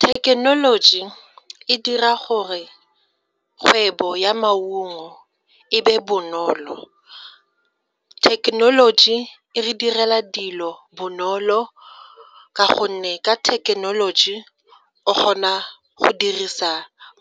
Thekenoloji e dira gore kgwebo ya maungo e be bonolo. Thekenoloji e re direla dilo bonolo ka gonne ka thekenoloji o kgona go dirisa